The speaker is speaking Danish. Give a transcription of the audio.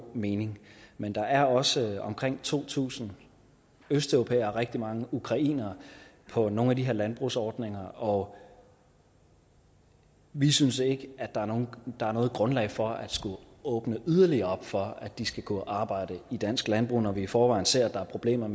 mening men der er også omkring to tusind østeuropæere herunder rigtig mange ukrainere på nogle af de her landbrugsordninger og vi synes ikke der er noget grundlag for at skulle åbne yderligere op for at de skal kunne arbejde i dansk landbrug når vi i forvejen ser at der er problemer